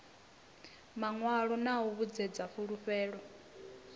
mawalo na u vhuedzedza fhulufhelo